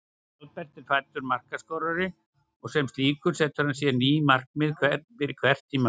Albert er fæddur markaskorari og sem slíkur setur hann sér ný markmið fyrir hvert tímabil.